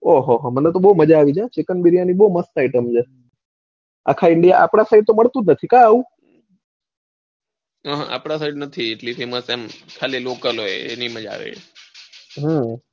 આહ મને તો બૌ મજા આવી જાય હો ચિકન બિરિયાની બૌ મસ્ત item છે આખા india આપણા side તો મળતું જ નથી કે એવું હા આપડા side તો નથી એટલે famous ખાલી local હોય એજ જ મળે હા,